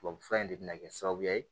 Tubabufura in de bɛ na kɛ sababu ye